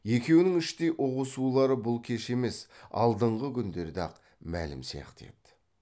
екеуінің іштей ұғысулары бұл кеш емес алдыңғы күндерде ақ мәлім сияқты еді